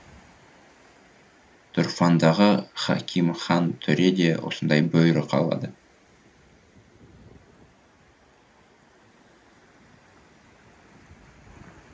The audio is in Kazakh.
тұрфандағы хакимхан төре де осындай бұйрық алады